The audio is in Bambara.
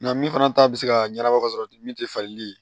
Nka min fana ta bɛ se ka ɲɛnabɔ ka sɔrɔ ten min tɛ falen